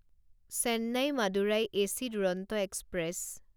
Chennai Madurai AC Duronto express